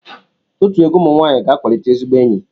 Otu egwu ụmụ nwaanyịga-akwalite ezigbo enyi.